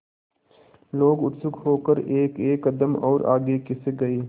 लोग उत्सुक होकर एकएक कदम और आगे खिसक गए